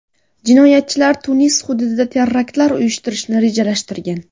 Jinoyatchilar Tunis hududida teraktlar uyushtirishni rejalashtirgan.